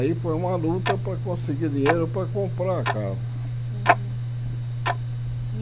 Aí foi uma luta para conseguir dinheiro para comprar a casa. Uhum e